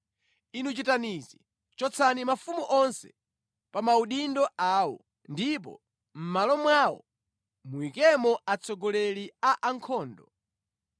Inu chitani izi: chotsani mafumu onse pa maudindo awo ndipo mʼmalo mwawo muyikemo atsogoleri a ankhondo.